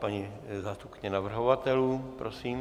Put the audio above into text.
Paní zástupkyně navrhovatelů, prosím.